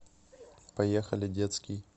поехали детский